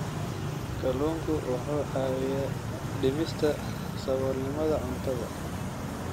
Kalluunku wuxuu caawiyaa dhimista saboolnimada cuntada.